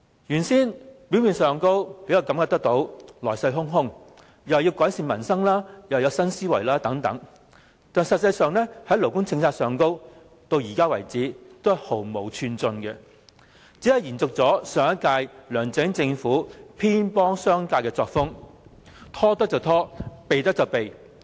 現屆政府看似來勢洶洶，既說要改善民生，又說要有新思維，但在勞工政策上，至今毫無寸進，只是延續上屆梁振英政府偏幫商界的作風，拖得便拖，可避便避。